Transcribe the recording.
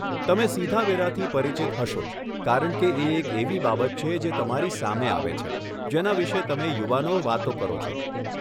તમે સીધા વેરાથી પરિચિત હશો જ કારણકે એ એક એવી બાબત છે જે તમારી સામે આવે છે, જેના વિષે તમે યુવાનો વાતો કરો છો.